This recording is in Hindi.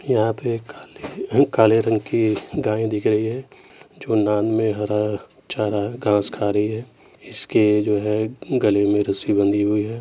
यहाँ पे काले काले रंग की गाय दिख रही है। जो नाद में हरा चाराघांस खा रही है। इसके जो है गले में रस्सी बंधी हुई है।